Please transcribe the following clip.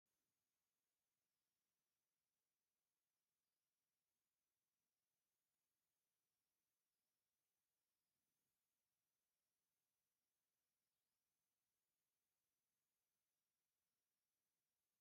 እዚ ኣርማ ወይም ባንዴራ ይበሃል ናይ ሓደ ብሄር ወይ ድማ ናይ ሓደ ውድብ ወይም ናይ ሓደ ትካል ፖለቲካ ውድብ መፍለይ እንትኸውን ፡ እዚኣ 'ኸ ናይ መን እያ ?